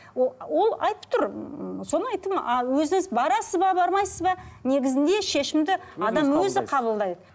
ол ол айтып тұр ммм соны айттым ал өзіңіз барасыз ба бармайсыз ба негізі шешімді адам өзі қабылдайды